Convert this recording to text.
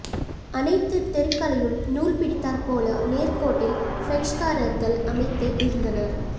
அனைத்து தெருக்களையும் நூல் பிடித்தார்போல நேர் கோட்டில் பிரெஞ்சுக்காரர்கள் அமைத்து இருந்தனர்